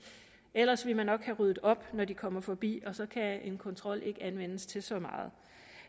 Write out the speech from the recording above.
ellers ville man nok have ryddet op når de kom forbi og så kan en kontrol ikke anvendes til så meget